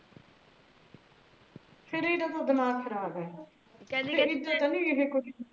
ਫਰ ਇਹਦਾ ਤ ਦਿਮਾਗ ਖਰਾਬ ਆ